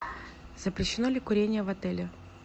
запрещено ли курение в отеле